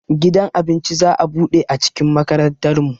Gidan abinci za'a buɗe a cikin makarantar mu